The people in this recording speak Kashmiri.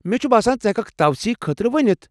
مےٚ چھُ باسان ژٕ ہیٚککھ توسیٖع خٲطرٕ ونِتھ ۔